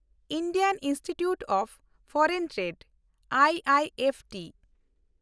Indian Institute of Foreign Trade (IIFT)